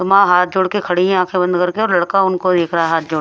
तो मां हाथ जोड़ के खड़ी है आंखें बंद करके और लड़का उनको देख रहा है हाथ जोड़--